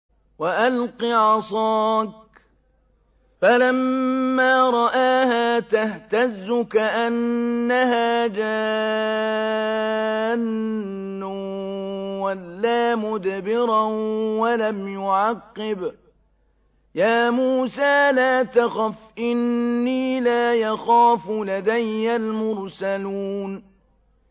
وَأَلْقِ عَصَاكَ ۚ فَلَمَّا رَآهَا تَهْتَزُّ كَأَنَّهَا جَانٌّ وَلَّىٰ مُدْبِرًا وَلَمْ يُعَقِّبْ ۚ يَا مُوسَىٰ لَا تَخَفْ إِنِّي لَا يَخَافُ لَدَيَّ الْمُرْسَلُونَ